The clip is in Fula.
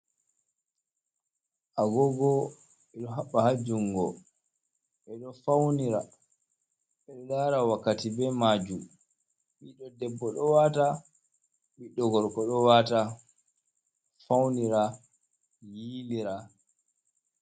Agogo ɓe ɗo habba ha jungo ɓe ɗo faunira ɓe ɗo lara wakkati be majum ɓiɗɗo debbo do wata ɓiɗɗo gorko do wata faunira yilira.